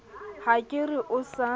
ha ke re o sa